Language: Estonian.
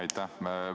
Aitäh!